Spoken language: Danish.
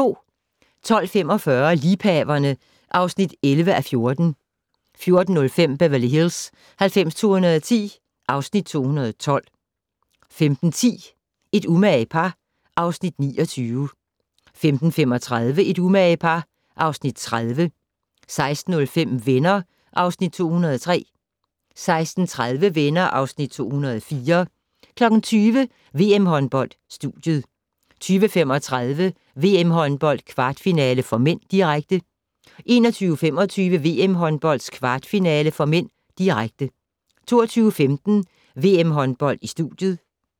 12:45: Liebhaverne (11:14) 14:05: Beverly Hills 90210 (Afs. 212) 15:10: Et umage par (Afs. 29) 15:35: Et umage par (Afs. 30) 16:05: Venner (Afs. 203) 16:30: Venner (Afs. 204) 20:00: VM-håndbold: Studiet 20:35: VM-håndbold: Kvartfinale (m), direkte 21:25: VM-håndbold: Kvartfinale (m), direkte 22:15: VM-håndbold: Studiet